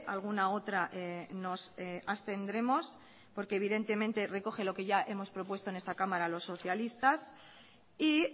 alguna otra nos abstendremos porque evidentemente recoge lo que ya hemos propuesto en esta cámara los socialistas y